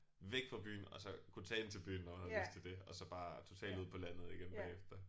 Væk fra byen og så kunne tage ind til byen når jeg havde lyst til det og så bare totalt ud på landet igen bagefter